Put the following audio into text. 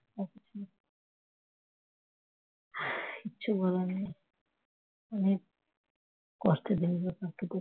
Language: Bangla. কিচ্ছু বলার নেই কষ্টের দিনগুলোর কথা।